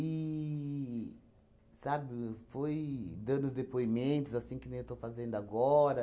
sabe, foi dando os depoimentos, assim que nem eu estou fazendo agora.